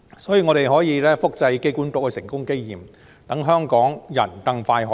所以，我們可以複製機管局的成功經驗，讓香港人可以更快"上樓"。